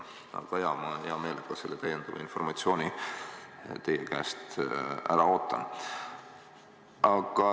Aga jah, ma hea meelega selle lisainformatsiooni teie käest ära ootan.